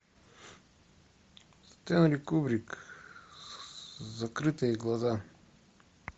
стэнли кубрик закрытые глаза